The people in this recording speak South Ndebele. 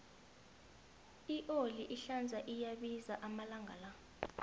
ioli ehlaza iyabiza amalanga la